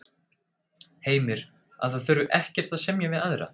Heimir: Að það þurfi ekkert að semja við aðra?